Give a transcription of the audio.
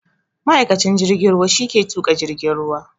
Ma'aikacin jirgin ruwa shi ke tuƙa jirgin ruwa